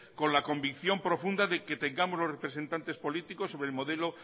con la convicción profunda de que tengamos los representantes políticos sobre el modelo